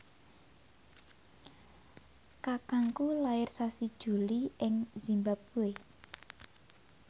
kakangku lair sasi Juli ing zimbabwe